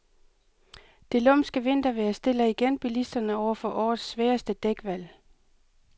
Det lumske vintervejr stiller igen bilisterne over for årets sværeste dækvalg.